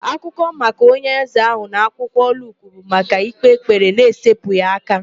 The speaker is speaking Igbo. Akụkọ maka onye eze ahụ na akwụkwọ Luk bụ maka ịkpe ekpere n'esepụghị aka.